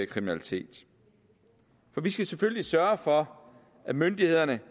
kriminalitet for vi skal selvfølgelig sørge for at myndighederne